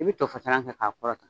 I bi to fasalan kɛ k'a kɔrɔtan